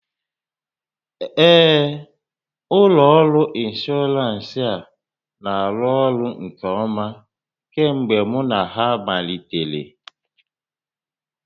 Ee, ụlọ ọrụ ịnshọọransị a na-arụ ọrụ nke ọma kemgbe mụ na ha malitere